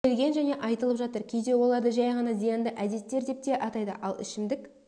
келген және айтылып жатыр кейде оларды жәй ғана зиянды әдеттер деп те атайды ал ішімдік